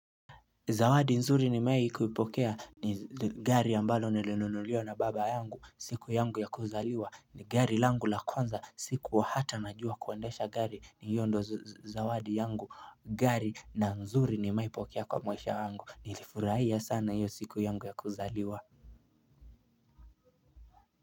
Zawadi nzuri nimewahi kulipokea ni gari ambalo nilinunuliwa na baba yangu siku yangu ya kuzaliwa ni gari langu la kwanza sikuwa hata najua kuendesha gari na hiyo ndio zawadi yangu gari na nzuri nimewahi pokea kwa maisha yangu nilifurahia sana iyo siku yangu ya kuzaliwa.